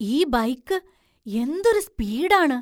ഈ ബൈക്ക് എന്തൊരു സ്പീഡ് ആണ്!